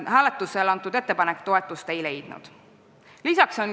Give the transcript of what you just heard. Ettepanek hääletusel toetust ei leidnud.